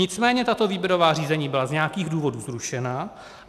Nicméně tato výběrová řízení byla z nějakých důvodů zrušena.